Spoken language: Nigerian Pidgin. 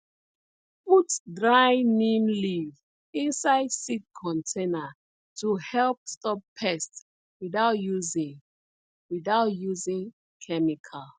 put dry neem leaf inside seed container to help stop pests without using without using chemical